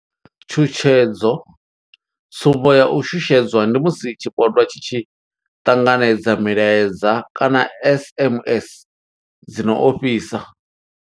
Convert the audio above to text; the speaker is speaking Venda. Tshutshedzo tsumbo ya u shushedzwa ndi musi tshipondwa tshi tshi ṱanganedza milaedza kana SMS dzi no ofhisa.